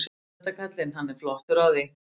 Hann kann þetta kallinn, hann er flottur á því.